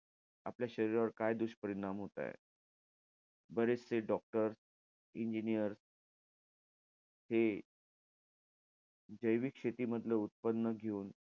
आपल्या शरीरावर काय दुष्परिणाम होताय. बरेचसे doctor engineer हे जैविक शेतीमधलं उत्पन्न घेऊन,